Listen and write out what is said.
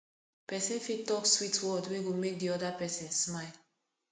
persin fit talk sweet word wey go make di other persin smile